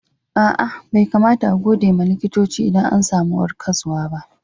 Aa, Bai kamata a'gode ma likitoci idan an samu warkaswa ba.